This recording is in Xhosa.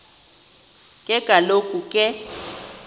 ke kaloku ke